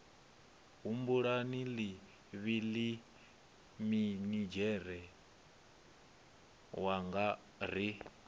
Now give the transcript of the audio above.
humbula ḽivhili minidzhere wanga ri